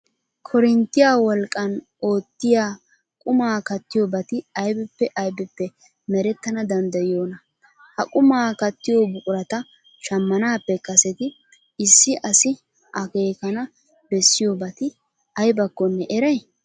Korinttiya wolqqan oottiya qumaa kattiyobati aybippe aybippe merettana danddayiyoonaa? Ha qumaa kattiyo buqurata shammanaappe kaseti issi asi akeekana bessiyobati aybakkonne eray?